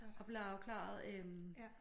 Og blev afklaret øh